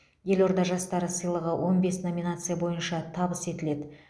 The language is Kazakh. елорда жастары сыйлығы он бес номинация бойынша табыс етіледі